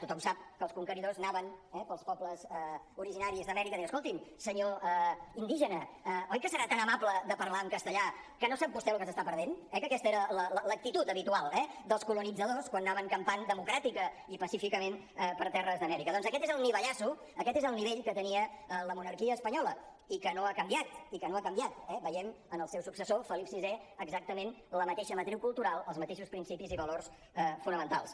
tothom sap que els conqueridors anaven eh pels pobles originaris d’amèrica dient escolti’m senyor indígena oi que serà tan amable de parlar en castellà que no sap vostè el que s’està perdent eh que aquesta era l’actitud habitual dels colonitzadors quan anaven campant democràticament i pacíficament per terres d’amèrica doncs aquest és el nivellasso aquest és el nivell que tenia la monarquia espanyola i que no ha canviat i que no ha canviat eh veiem en el seu successor felip vi exactament la mateixa matriu cultural els mateixos principis i valors fonamentals